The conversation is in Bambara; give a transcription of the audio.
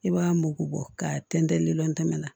I b'a mugu bɔ ka tɛntɛn lilɔntɛmɛ na